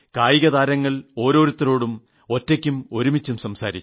കായിക താരങ്ങൾ ഓരോരുത്തരോടും ഒറ്റയ്ക്കും കൂട്ടായും സംസാരിച്ചു